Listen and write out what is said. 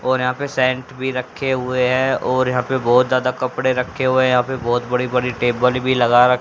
और यहां पे सेंट भी रखे हुए है और यहां पे बहोत ज्यादा कपड़े रखे हुए यहां पे बहोत बड़ी बड़ी टेबल भी लगा--